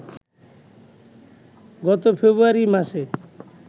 গত ফেব্রুয়ারি মাসে